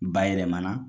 Bayɛlɛmana